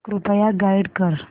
कृपया गाईड कर